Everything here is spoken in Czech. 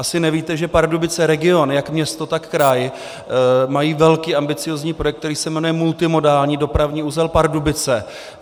Asi nevíte, že Pardubice region, jak město, tak kraj, mají velký ambiciózní projekt, který se jmenuje multimodální dopravní uzel Pardubice.